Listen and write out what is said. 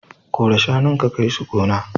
Kora shanun ka kai su gona.